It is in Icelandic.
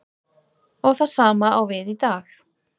Og það sama á við í dag.